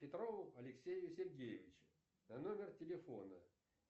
петрову алексею сергеевичу на номер телефона